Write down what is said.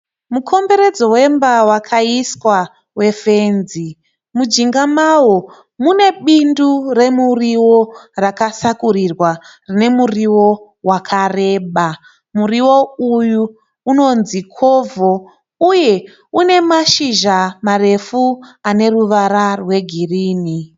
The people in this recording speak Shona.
Mukomboredzo wemba wakaiswa wefenzi. Mujinga mawo mune bindu remuriwo rakasakurirwa rine muriwo wakareba. Muriwo uyu unonzi kovho uye une mashizha marefu ane ruvara rwegirinhi.